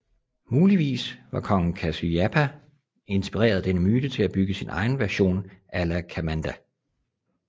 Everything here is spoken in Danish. Muligvis var kong Kasyapa inspireret af denne myte til at bygge sin egen version af Alakamanda